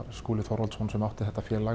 Skúla Þorvaldsson sem átti þetta félag